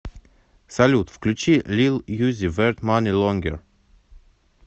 салют включи лил юзи верт мани лонгер